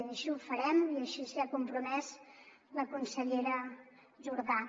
i així ho farem i així s’hi ha compromès la consellera jordà